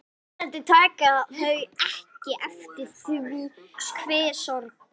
Vonandi taka þau ekki eftir því hve sorg